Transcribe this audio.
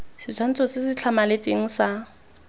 setshwantsho se se tlhamaletseng sa